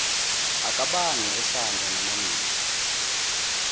akabange esanda namaningi